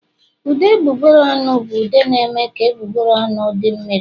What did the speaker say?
Ude egbugbere ọnụ bụ ude na-eme ka egbugbere ọnụ di mmiri